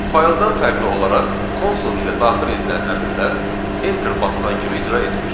Fayldan fərqli olaraq konsol ilə daxil edilən əmrlər enter basılan kimi icra edilir.